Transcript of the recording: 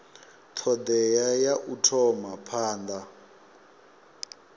thodea ya u thoma phanda